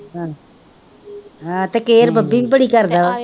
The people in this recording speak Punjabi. ਤੇ ਕਿਆਰ ਬੱਬੀ ਵੀ ਬੜੀ ਕਰਦਾ ਓਹ,